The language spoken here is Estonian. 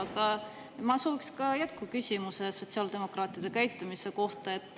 Aga ma sooviksin jätkuküsimuse sotsiaaldemokraatide käitumise kohta.